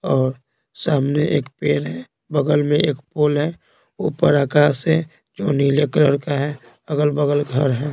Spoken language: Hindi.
और सामने एक पेड़ है बगल में एक पोल है ऊपर आकाश है जो नीले कलर का है अगल-बगल घर है।